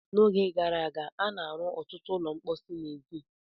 N'oge gara aga, a na-arụ ọtụtụ ụlọ mposi n'èzí.